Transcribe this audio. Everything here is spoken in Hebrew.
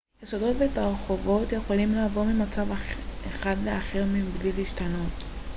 יסודות ותרכובות יכולים לעבור ממצב אחד לאחר מבלי להשתנות